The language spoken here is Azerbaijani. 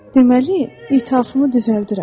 Deməli, ithafımı düzəldirəm.